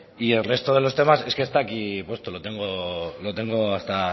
y el resto de los temas es que están aquí puesto lo tengo hasta